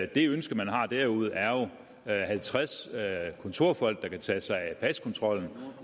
det ønske man har derude er er jo halvtreds kontorfolk der kan tage sig af paskontrollen